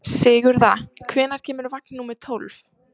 Sigurða, hvenær kemur vagn númer tólf?